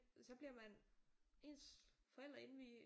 Så bliver man ens forældre inde ved